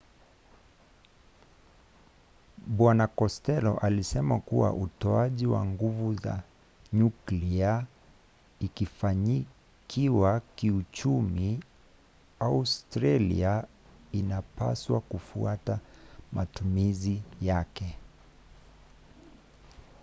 bwana kostello alisema kuwa utoaji wa nguvu za nyuklia ukifanikiwa kiuchumi australia inapaswa kufuata matumizi yake